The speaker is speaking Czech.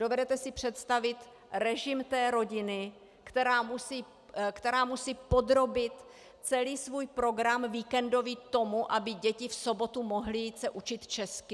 Dovedete si představit režim té rodiny, která musí podrobit celý svůj program víkendový tomu, aby děti v sobotu mohly jít se učit česky?